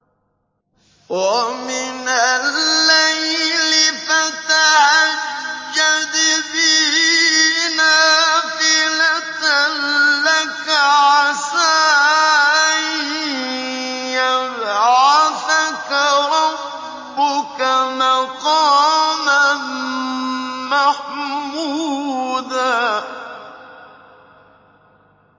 وَمِنَ اللَّيْلِ فَتَهَجَّدْ بِهِ نَافِلَةً لَّكَ عَسَىٰ أَن يَبْعَثَكَ رَبُّكَ مَقَامًا مَّحْمُودًا